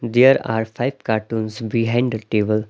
There are five cartoons behind the table.